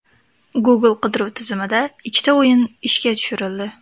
Google qidiruv tizimida ikkita o‘yin ishga tushirildi.